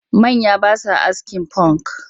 Manya ba sa askin funk